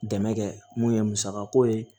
Dɛmɛ kɛ mun ye musakako ye